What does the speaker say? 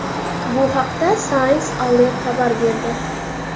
Bu haqda Science Alert xabar berdi .